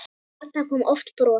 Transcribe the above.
Þarna kom oft bros.